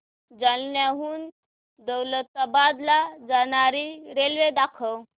जालन्याहून दौलताबाद ला जाणारी रेल्वे दाखव